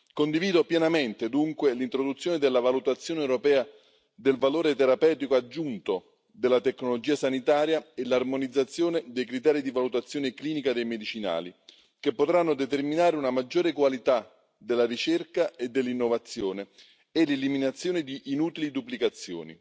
Condivido pienamente, dunque, l'introduzione della valutazione europea del valore terapeutico aggiunto della tecnologia sanitaria e l'armonizzazione dei criteri di valutazione clinica dei medicinali, che potranno determinare una maggiore qualità della ricerca e dell'innovazione e l'eliminazione di inutili duplicazioni.